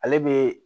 Ale bɛ